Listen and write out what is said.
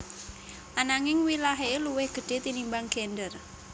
Ananging wilahé luwih gedhé tinimbang gendèr